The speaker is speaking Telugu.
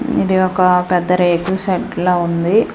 ఇది ఒక పెద్ద రేకుల షెడ్డు లా ఉంది.